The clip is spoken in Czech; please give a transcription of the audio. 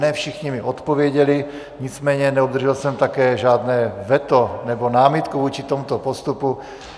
Ne všichni mi odpověděli, nicméně neobdržel jsem také žádné veto nebo námitku vůči tomuto postupu.